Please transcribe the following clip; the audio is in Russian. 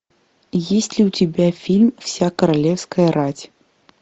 есть ли у тебя фильм вся королевская рать